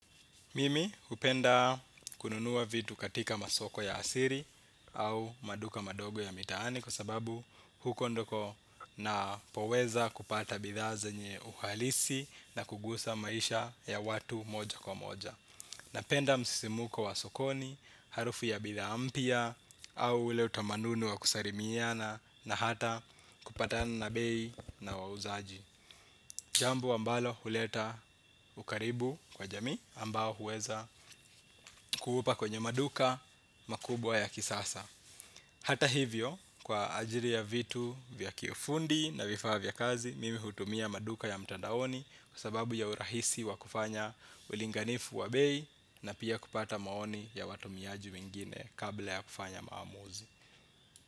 Mimi hupenda kununua vitu katika masoko ya sili au maduka madogo ya mitaani kwa sababu huko ndiko napoweza kupata bidhaa zenye uhalisi na kukusa maisha ya watu moja kwa moja napenda msisimko wa sokoni harufu ya bidhaa mpya au ule utamaduni wa kusalilimiana na hata kupatana bei na wauzaji jambo ambalo huleta ukaribu kwa jamii ambao huweza kuupa kwenye maduka makubwa ya kisasa. Hata hivyo, kwa ajili ya vitu vya kifundi na vifaa vya kazi, mimi hutumia maduka ya mtandaoni kwasababu ya urahisi wakufanya ulinganifu wa bei na pia kupata maoni ya watumiaji wengine kabla ya kufanya maamuzi.